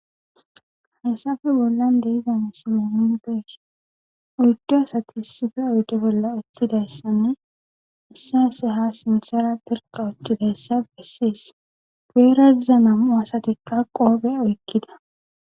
hayssafe bollan de'iza misile nuni be'ishe oydu asati issife oyde bolla uttidayssanne issay issay ha sinsera berka uttidayssa besses guyera diza nam'u aasatikka qofe oykkida